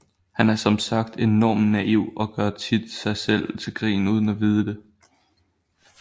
Han er som sagt også enormt naiv og gør tit sig selv til grin uden at vide det